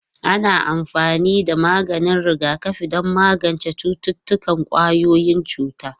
Ana amfani da maganin rigakafi don magance cututtukan ƙwayoyin cuta.